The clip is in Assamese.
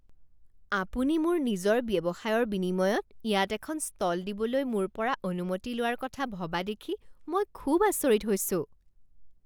আপুনি মোৰ নিজৰ ব্যৱসায়ৰ বিনিময়ত ইয়াত এখন ষ্টল দিবলৈ মোৰ পৰা অনুমতি লোৱাৰ কথা ভবা দেখি মই খুব আচৰিত হৈছোঁ।